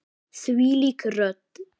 Þvílík rödd!